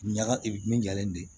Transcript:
Ɲaga min jalen don